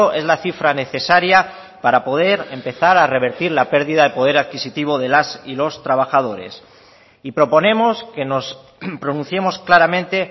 es la cifra necesaria para poder empezar a revertir la pérdida de poder adquisitivo de las y los trabajadores y proponemos que nos pronunciemos claramente